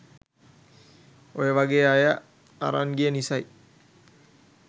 ඔයා වගේ අය අරං ගිය නිසයි.